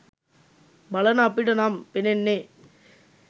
බලන අපිට නම් පෙනෙන්නේ